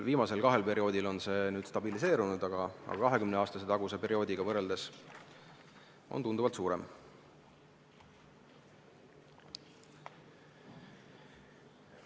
Viimasel kahel perioodil on selle kogus stabiliseerunud, aga 20 aasta taguse ajaga võrreldes on seda tunduvalt rohkem.